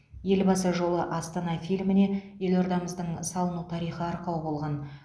елбасы жолы астана фильміне елордамыздың салыну тарихы арқау болған